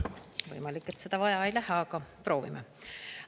Võimalik, et seda vaja ei lähe, aga proovime.